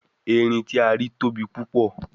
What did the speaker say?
Erin ti a ri tobi pupo